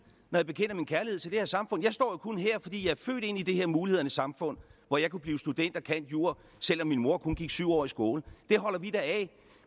når jeg bekender min kærlighed til det her samfund jeg står jo kun her fordi jeg er født ind i det her mulighedernes samfund hvor jeg kunne blive student og candjur selv om min mor kun gik syv år i skole det holder vi da af